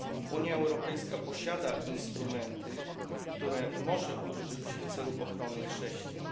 Unia Europejska posiada instrumenty, których może użyć w celu ochrony chrześcijan.